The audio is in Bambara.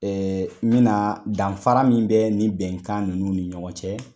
Ee n bena na danfara min bɛ ni bɛnkan ninnu ni ɲɔgɔn cɛ